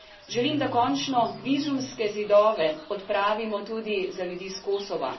Želim, da končno vizumske zidove odpravimo tudi za ljudi s Kosova.